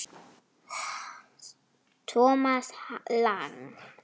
Thomas Lang